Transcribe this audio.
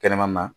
Kɛnɛmana na